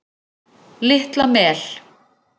Litla Mel